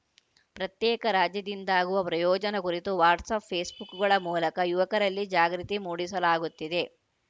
ಪ್ರತ್ಯೇಕ ರಾಜ್ಯದಿಂದಾಗುವ ಪ್ರಯೋಜನ ಕುರಿತು ವಾಟ್ಸಪ್‌ ಫೇಸ್‌ಬುಕ್‌ಗಳ ಮೂಲಕ ಯುವಕರಲ್ಲಿ ಜಾಗೃತಿ ಮೂಡಿಸಲಾಗುತ್ತಿದೆ